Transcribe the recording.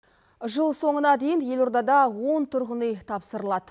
жыл соңына дейін елордада он тұрғын үй тапсырылады